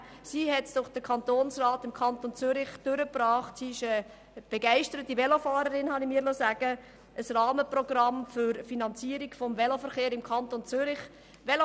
Sie ist eine begeisterte Velofahrerin, habe ich mir sagen lassen, und sie hat im Kantonsrat ein Rahmenprogramm für die Finanzierung des Veloverkehrs im Kanton Zürich durchgebracht.